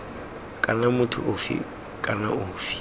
kana motho ofe kana ofe